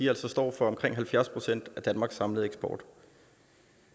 altså står for omkring halvfjerds procent af danmarks samlede eksport